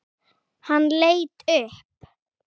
Hann leit upp.